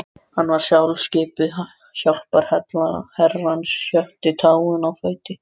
Hann var sjálfskipuð hjálparhella Herrans, sjötta táin á fæti